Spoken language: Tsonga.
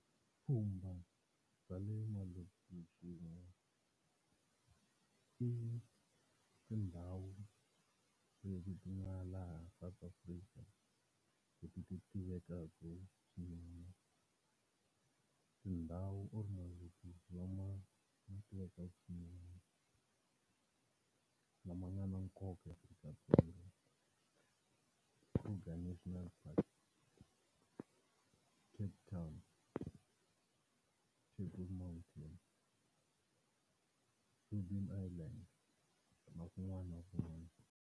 Vupfhumba bya le malokixini i tindhawu leti ti nga laha South Africa leti ti tiveka swinene. Tindhawu tivekaka swinene, lama nga na nkoka eAfrica-Dzonga Kruger National Park, Cape Town, table mountain, Robert Island hlangane na kun'wana na kun'wana.